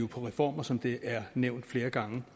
på reformer som det er nævnt flere gange